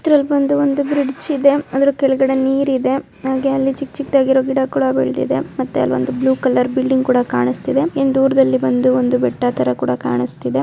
ಇದ್ರಲ್ ಬಂದು ಒಂದು ಬ್ರಿಡ್ಜ್ ಇದೆ ಅದ್ರ ಕೆಳಗಡೆ ನೀರ್ ಇದೆ ಹಾಗೆ ಅಲ್ಲಿ ಚಿಕ್ ಚಿಕ್ದಾಗಿರೋ ಗಿಡ ಕೂಡ ಬೆಳ್ದಿದೆ. ಮತ್ತೆ ಅಲ್ ಒಂದು ಬ್ಲೂ ಕಲರ್ ಬಿಲ್ಡಿಂಗ್ ಕೂಡ ಕಾಣಿಸ್ತಿದೆ. ಇನ್ ದೂರದಲ್ಲಿ ಬಂದು ಒಂದು ಬೆಟ್ಟ ಥರ ಕೂಡ ಕಾಣಸ್ತಿದೆ.